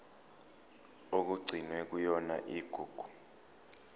okugcinwe kuyona igugu